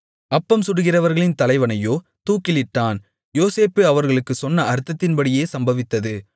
அப்பம் சுடுகிறவர்களின் தலைவனையோ தூக்கிலிட்டான் யோசேப்பு அவர்களுக்குச் சொன்ன அர்த்தத்தின்படியே சம்பவித்தது